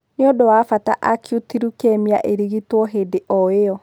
Nĩ ũndũ wa bata acute leukemia ĩrigitwo hĩndĩ o ĩyo.